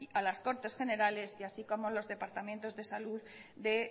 a las cortes generales y así como a los departamentos de salud de